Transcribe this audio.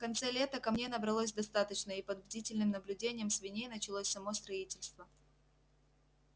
в конце лета камней набралось достаточно и под бдительным наблюдением свиней началось само строительство